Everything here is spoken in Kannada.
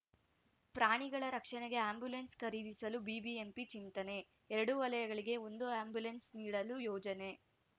ಪ್ರಾಣಿಗಳ ರಕ್ಷಣೆಗೆ ಆ್ಯಂಬುಲೆನ್್‌ ಖರೀದಿಸಲು ಬಿಬಿಎಂಪಿ ಚಿಂತನೆ ಎರಡು ವಲಯಗಳಿಗೆ ಒಂದು ಆ್ಯಂಬುಲೆನ್ಸ್‌ ನೀಡಲು ಯೋಜನೆ